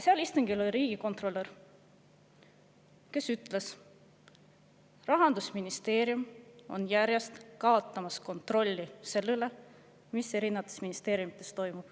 Seal istungil oli ka riigikontrolör, kes ütles, et Rahandusministeerium kaotab järjest kontrolli selle üle, mis eri ministeeriumides toimub.